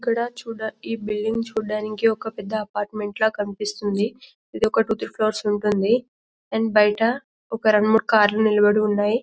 ఇక్కడ చూడానికి ఈ బిల్డింగ్ చూడానికి ఒక పెద్ద అపార్ట్మెంట్ లా కనిపిస్తుంది ఇది ఒక టూ త్రి ఫ్లూర్స్ ఉంటుంది అండ్ బైట ఒక రెండు మూడు కార్లు నిలబడి ఉన్నాయి --